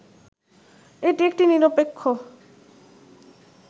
এটি একটি নিরপেক্ষ